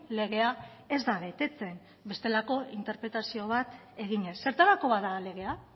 legea ez da betetzen bestelako interpretazio bat eginez zertarako bada legea